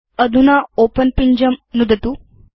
अधुना ओपेन पिञ्जं नुदतु